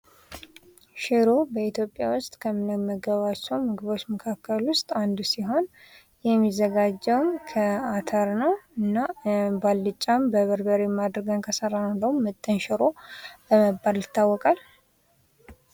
ሽሮ በኢትዮጵያ ዉስጥ ከምንመገባቸዉ ምግቦች መካከል አንዱ ሲሆን የሚዘጋጀዉም ከአተር እና በአልጫም በበርበሬም አድርገን ከሰራነዉ እንዲያዉም ምጥን ሽሮ በመባል ይታወቃል።